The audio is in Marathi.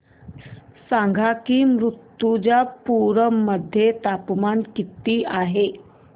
सांगा की मुर्तिजापूर मध्ये तापमान किती आहे